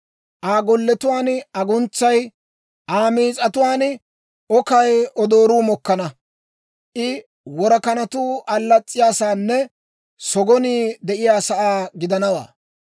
Aa golletuwaan aguntsay, Aa miis'atuwaan okay odooruu mokkana. I worakanatuu allas's'iyaasaanne sogonii de'iyaasaa gidanawaa.